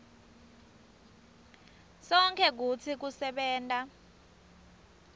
sonkhe kutsi kusebenta